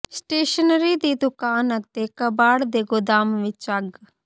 stationery ਦੀ ਦੁਕਾਨ ਅਤੇ ਕਬਾੜ ਦੇ ਗੁਦਾਮ ਵਿੱਚ ਅੱਗ